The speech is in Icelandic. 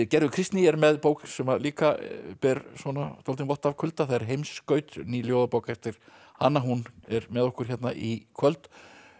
gerður Kristný er með bók sem líka ber dálítinn vott af kulda það er Heimskaut ný ljóðabók eftir hana hún er með okkur hérna í kvöld